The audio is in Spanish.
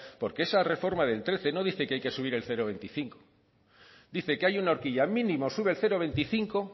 porque esa reforma del trece no dice que hay que subir el cero coma veinticinco dice que hay una horquilla mínimo sube el cero coma veinticinco